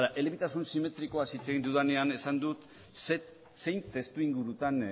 elebitasun simetrikoa hitz egin dudanean esan dut zein testu ingurutan